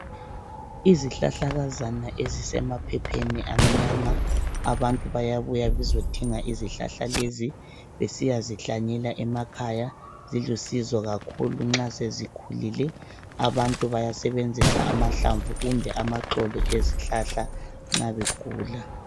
Izihlahlakazana ezisemaphepheni amnyama abantu bayabuya bezodinga izihlahla lezi besiya zihlanyela emakhaya zilusizo kakhulu nxa sezikhulile abantu bayasebenzisa amahlamvu kumbe amagxolo ezihlahleni nxa begula.